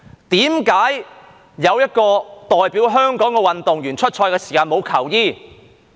為何有一個代表香港的運動員出賽時沒有球衣？